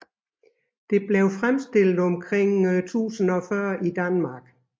Det blev fremstillet omkring 1040 i Danmark